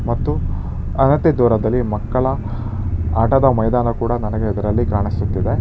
ಮತ್ತು ಅಗತ್ಯ ದೂರದಲ್ಲಿ ಮಕ್ಕಳ ಆಟದ ಮೈದಾನ ಕೂಡ ನನಗೆ ಇದರಲ್ಲಿ ಕಾಣಿಸುತ್ತಿದೆ.